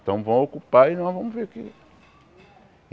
Então vamos ocupar e nós vamos ver o que.